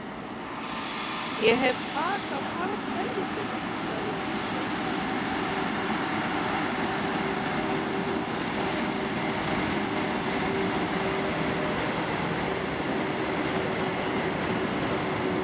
Ég hef tak á karlhelvítinu, sagði Gizur.